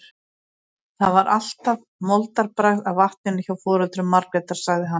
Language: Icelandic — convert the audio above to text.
Það var alltaf moldarbragð af vatninu hjá foreldrum Margrétar, sagði hann.